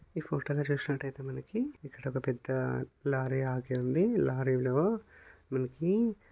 ఈ ఫోటో ని చూసినట్లయితే మనకి ఒక పెద్ద లారీ ఆగి ఉంది. లారీలో మనకి--